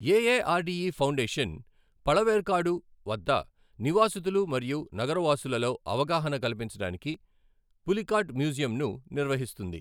AARDE foundation Pazhaverkadu వద్ద నివాసితులు మరియు నగరవాసులలో అవగాహన కల్పించడానికి పులికాట్ మ్యూజియంను నిర్వహిస్తుంది.